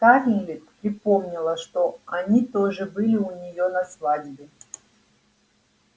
скарлетт припомнила что они тоже были у неё на свадьбе